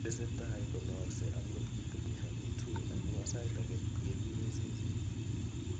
Tesetai konaaksei akot kiteweri amu tui, amu sait age kegure ' seseet'